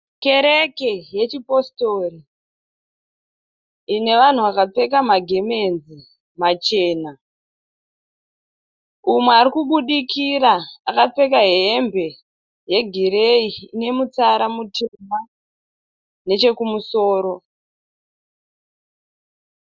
Kereke yechipositori ine vanhu vakapfeka magemenzi machena. Umwe ari kubudikira akapfeka hembe yegireyi ine mutsara mutema nechekumusoro.